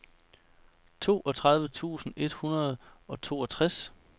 toogtredive tusind et hundrede og toogtres